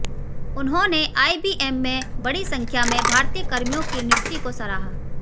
उन्होंने आईबीएम में बड़ी संख्या में भारतीय कर्मियों की नियुक्ति को सराहा